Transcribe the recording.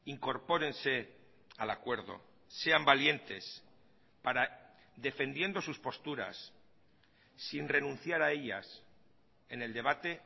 incorpórense al acuerdo sean valientes para defendiendo sus posturas sin renunciar a ellas en el debate